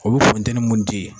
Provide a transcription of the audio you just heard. Olu funteni mun tɛ yen.